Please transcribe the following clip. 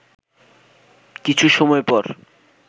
কিছু সময় পর